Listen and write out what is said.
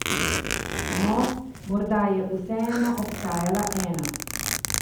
No, morda je vseeno obstajala ena.